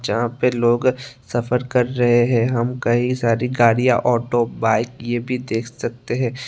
जहां पे लोग सफर कर रहे है हम कई सारी गाड़ियां ऑटो बाइक ये सब भी देख सकते है।